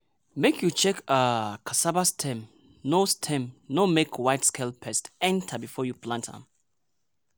make you check um cassava stem no stem no make white scale pest enter before you plant am.